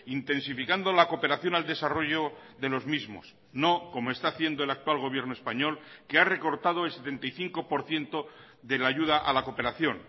intensificando la cooperación al desarrollo de los mismos no como está haciendo el actual gobierno español que ha recortado el setenta y cinco por ciento de la ayuda a la cooperación